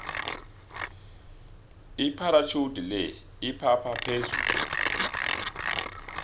ipharatjhudi le iphapha phezulu